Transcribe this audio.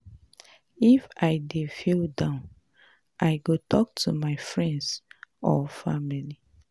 If I dey feel down, I go talk to my friends or family.